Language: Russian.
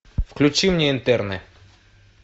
включи мне интерны